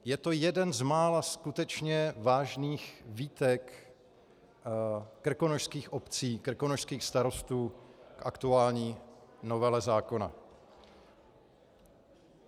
Je to jeden z mála skutečně vážných výtek krkonošských obcí, krkonošských starostů k aktuální novele zákona.